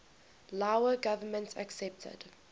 lao government accepted